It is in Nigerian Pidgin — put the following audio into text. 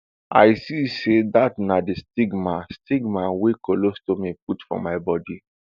i see say dat na di stigma stigma wey colostomy put for my bodi